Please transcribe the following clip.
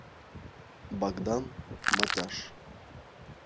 богдан матяш